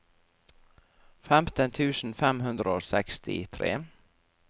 femten tusen fem hundre og sekstitre